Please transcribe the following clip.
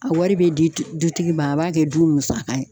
A wari bɛ di dutigi ma a b'a kɛ du musaka ye.